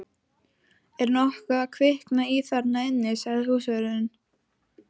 Er nokkuð að kvikna í þarna inni? sagði húsvörðurinn.